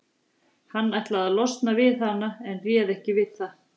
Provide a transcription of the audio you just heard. Hann ætlaði að losna við hana en réð ekki við það.